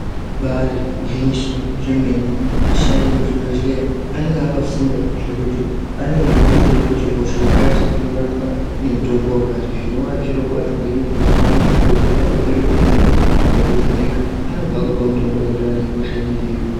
Ibari gwinyiso remene vashandi vemuzvibhedhlera anenge akafunda zvekuti anenge eyitoziva kuti hosha yakati ino rapwa nemitombo wakati zvinova zviro kwazvo ngenyaya yekuti paunosvika uchirwara kuzvichibhedhlera akakuvheneka anobva akupa mitombo inoenderana nehosha inenge yeikubata.